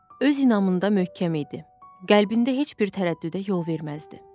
Öz inanmında möhkəm idi, qəlbində heç bir tərəddüdə yol verməzdi.